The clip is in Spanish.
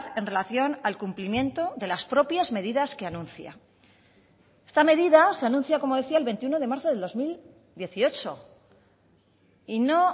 en relación al cumplimiento de las propias medidas que anuncia esta medida se anuncia como decía el veintiuno de marzo del dos mil dieciocho y no